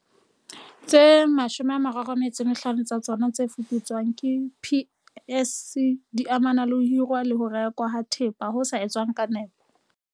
Tse 35 tsa tsona tse fuputswang ke PSC di amana le ho hirwa le ho rekwa ha thepa ho sa etswang ka nepo